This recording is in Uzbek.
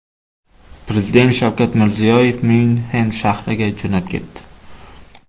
Prezident Shavkat Mirziyoyev Myunxen shahriga jo‘nab ketdi.